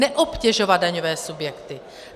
Neobtěžovat daňové subjekty.